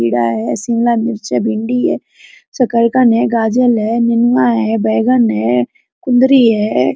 कीड़ा है शिमला मिर्च है भिंडी है शकरकंद है गाजल है है बैगन है कुंदरी है।